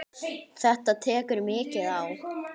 Þetta tekur mikið á.